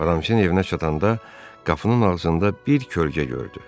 Aramis'in evinə çatanda qapının ağzında bir kölgə gördü.